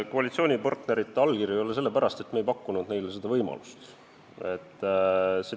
Koalitsioonipartnerite allkirju ei ole sellepärast, et me ei pakkunud neile seda võimalust.